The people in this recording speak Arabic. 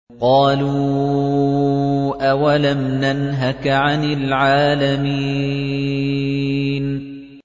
قَالُوا أَوَلَمْ نَنْهَكَ عَنِ الْعَالَمِينَ